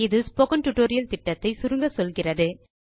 இது spoken tutorial project ஐ சுருக்கமாக சொல்லுகிறது